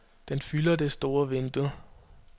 Den fylder det store vindue.